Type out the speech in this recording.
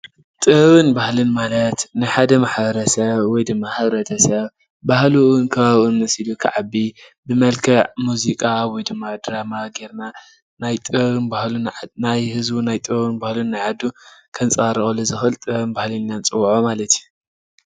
ጥበብን ባህሊን ማለት ንሓደ ማሕበረሰብ ወይድማ ሕብረተሰብ ባህሉን ከባቢኡን መሲሉ ክዓቢ ብመልክዕ ሙዚቃ ወይ ድማ ድራማ ጌርና ህዝቢ ጥበብን ባህሉን ናይ ዓዱ ን ከንፀባርቀሉ ዝክእል ጥበብን ባህሊን ኢልና ነፅውዖ ማለት እዩ።